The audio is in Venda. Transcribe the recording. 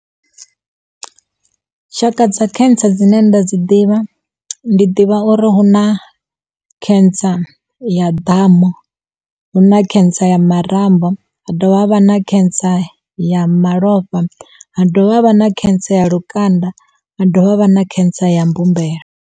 Tshaka dza cancer dzine nda dzi ḓivha ndi ḓivha uri hu na cancer ya damu, hu na cancer ya marambo, ha dovha ha vha na cancer ya malofha, hadovha havha na cancer ya lukanda, ha dovha havha na cancer ya mbumbelo.